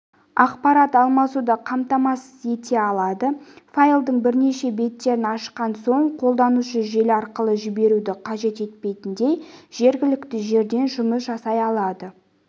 ақпарат алмасуды қамтамасыз ете алады файлдың бірнеше беттерін ашқан соң қолданушы желі арқылы жіберуді қажет етпейтіндей жергілікті жерден жұмыс жасай алады